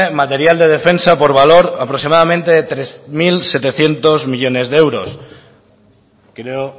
material de defensa por valor aproximadamente de tres mil setecientos millónes de euros creo